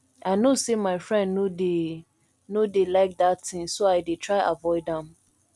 i no say my friend no dey no dey like dat thing so i dey try avoid am